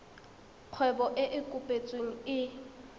kgwebo e e kopetsweng e